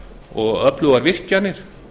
og öflugar virkjanir